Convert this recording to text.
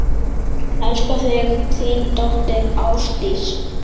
Elska þig, þín dóttir, Ásdís.